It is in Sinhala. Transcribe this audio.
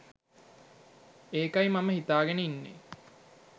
ඒකයි මම හිතාගෙන ඉන්නේ